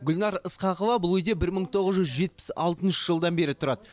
гүлнар ысқақова бұл үйде бір мың тоғыз жүз жетпіс алтыншы жылдан бері тұрады